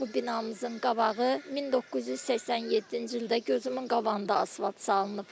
Bizim bax bu binamızın qabağı 1987-ci ildə gözümün qabağında asfalt salınıb.